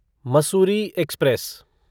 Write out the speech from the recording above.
Mussoorie express